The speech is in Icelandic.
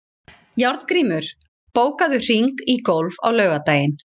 Járngrímur, bókaðu hring í golf á laugardaginn.